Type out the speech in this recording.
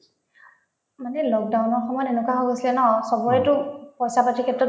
মানে lockdown ৰ সময়ত এনেকুৱা হৈ গৈছিলে ন চবৰেতো পইচা-পাতিৰ ক্ষেত্ৰত